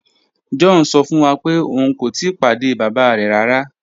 John sọ fun wa pe oun ko tii pade baba rẹ rara.